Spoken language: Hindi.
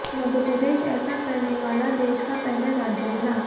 मध्यप्रदेश ऐसा करने वाला देश का पहला राज्य बना